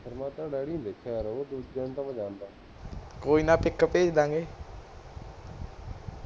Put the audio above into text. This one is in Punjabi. ਕੋਈ ਨਾ ਤਸਵੀਰ ਭਿਜ ਦੇਂਗੇ